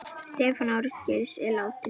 Stefán Ásgeir, látinn.